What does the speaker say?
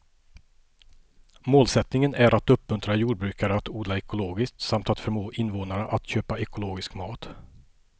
Målsättningen är att uppmuntra jordbrukare att odla ekologiskt samt att förmå invånarna att köpa ekologisk mat.